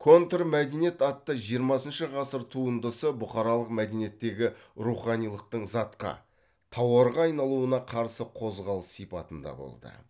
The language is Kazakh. контрмәдениет атты жиырмасыншы ғасыр туындысы бұқаралық мәдениеттегі руханилықтың затқа тауарға айналуына қарсы қозғалыс сипатында болды